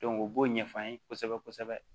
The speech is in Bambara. u b'o ɲɛf'an ye kosɛbɛ kosɛbɛ